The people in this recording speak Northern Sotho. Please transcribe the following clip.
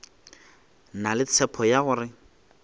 na le tshepo ya gore